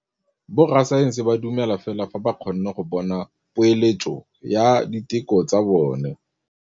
Borra saense ba dumela fela fa ba kgonne go bona poeletsô ya diteko tsa bone.